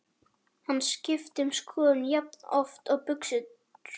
Hann skiptir um skoðun jafnoft og buxur.